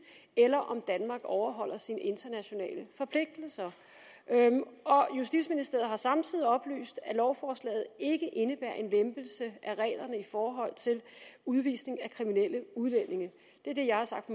eller om danmark overholder sine internationale forpligtelser og justitsministeriet har samtidig oplyst at lovforslaget ikke indebærer en lempelse af reglerne i forhold til udvisning af kriminelle udlændinge det er det jeg har sagt